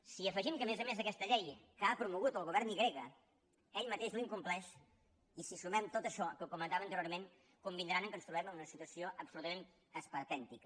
si hi afegim que a més a més aquesta llei que ha promogut el govern i grega ell mateix l’incompleix i si hi sumem tot això que comentava anteriorment convindran que ens trobem en una situació absolutament esperpèntica